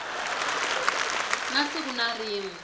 na siku na rin we